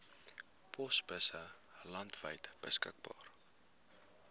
posbusse landwyd beskikbaar